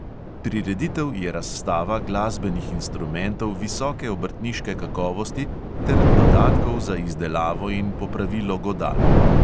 Prireditev je razstava glasbenih instrumentov visoke obrtniške kakovosti ter dodatkov za izdelavo in popravilo godal.